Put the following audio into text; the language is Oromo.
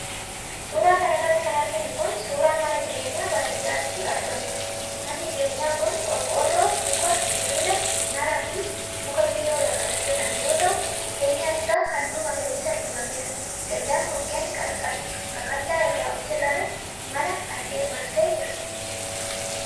Suura kana irratti kan arginu kun, suura mana jireenyaa baadiyaatti argamuuti. Manni jireenyaa kun:qorqoorroo, muka, sibiila mismaaraa fi muka biyyoo irraa kan hojjatame yoo ta'u ,keenyaan isaa haalluu magariisa dibameera. Dallaan mukkeen qaqallaa irraa hojjatame, mana kana marsee jira.